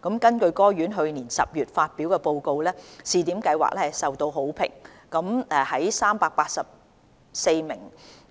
根據該院去年10月發表的報告，試點計劃受到好評，在384名